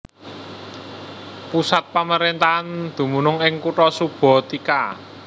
Pusat pamaréntahan dumunung ing kutha Subotica